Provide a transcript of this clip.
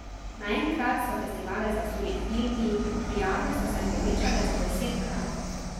Naenkrat so festivale zasuli filmi, prijave so se povečale za desetkrat.